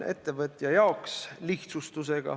Ettevõtjale on see lihtsustus.